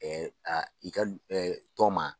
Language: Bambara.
a i ka tɔn ma.